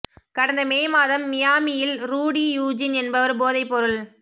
கடந்த மே மாதம் மியாமியில் ரூடி யூஜின் என்பவர் போதைப் பொருள்